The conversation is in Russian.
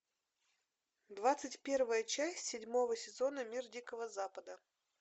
двадцать первая часть седьмого сезона мир дикого запада